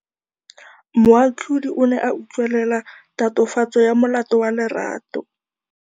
Moatlhodi o ne a utlwelela tatofatsô ya molato wa Lerato.